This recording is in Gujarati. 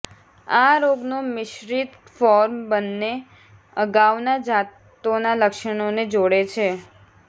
આ રોગનો મિશ્રિત ફોર્મ બંને અગાઉના જાતોના લક્ષણોને જોડે છે